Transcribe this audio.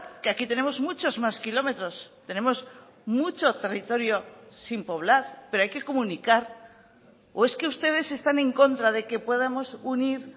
que aquí tenemos muchos más kilómetros tenemos mucho territorio sin poblar pero hay que comunicar o es que ustedes están en contra de que podamos unir